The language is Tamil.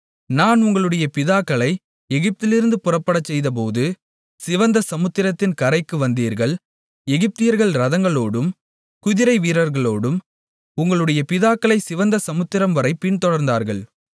நான் உங்களுடைய பிதாக்களை எகிப்திலிருந்து புறப்படச் செய்தபோது சிவந்த சமுத்திரத்தின் கரைக்கு வந்தீர்கள் எகிப்தியர்கள் இரதங்களோடும் குதிரைவீரர்களோடும் உங்களுடைய பிதாக்களைச் சிவந்த சமுத்திரம்வரைப் பின்தொடர்ந்தார்கள்